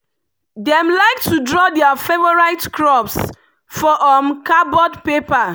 dem like to draw their favourite crops for um cardboard paper.